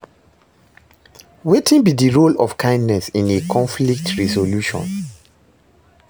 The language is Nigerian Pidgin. Wetin be di role of kindness in a conflict resolution?